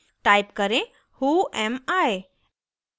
type करें whoami